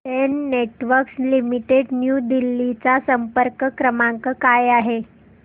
Den Networks Limited New Delhi चा संपर्क क्रमांक काय आहे